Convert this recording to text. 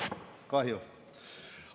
Kahju.